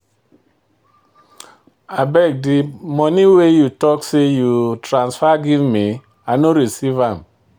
Abeg, de money wey you talk say you transfer give me, I no receive am.